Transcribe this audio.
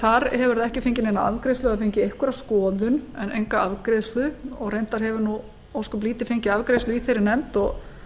þar hefur það ekki fengið neina afgreiðslu en fengið einhverja skoðun en enga afgreiðslu og reyndar hefur ósköp lítið fengið afgreiðslu í þeirri nefnd